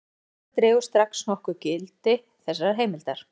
Sú staðreynd dregur strax nokkuð úr gildi þessarar heimildar.